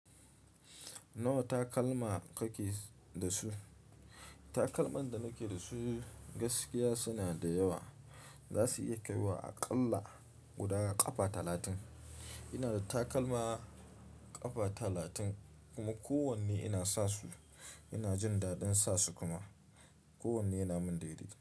Nawa takalma kake da su? Takalman da nake da su gaskiya suna da yawa. Zasu iya kaiwa aƙalla guda ƙafa talatin. Ina da takalma ƙafa talatin kuma kowanne ina sa su. Ina jin daɗin sa su kuma kowanne yana mun daidai.